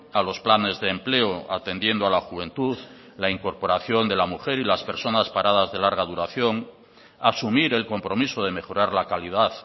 a los planes de empleo atendiendo a la juventud la incorporación de la mujer y las personas paradas de larga duración asumir el compromiso de mejorar la calidad